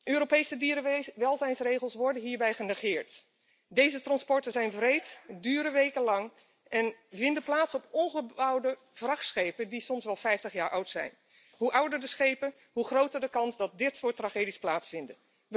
Europese dierenwelzijnsregels worden hierbij genegeerd. Deze transporten zijn wreed, duren wekenlang en vinden plaats op omgebouwde vrachtschepen die soms wel 50 jaar oud zijn. Hoe ouder de schepen, hoe groter de kans dat dit soort tragedies plaatsvinden.